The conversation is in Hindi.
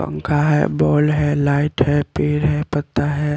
पंखा है बॉल है लाइट है पेड़ है पत्ता है।